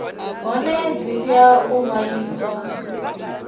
hone dzi tea u ṅwaliswa